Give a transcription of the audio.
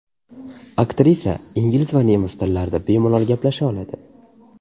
Aktrisa ingliz va nemis tillarida bemalol gaplasha oladi.